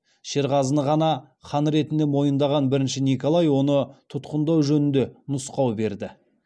шерғазыны ғана хан ретінде мойындаған бірінші николай оны тұтқындау жөнінде нұсқау берді